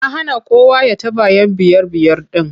Ya hana kowa ya taɓa 'yan biyar-biyar ɗin.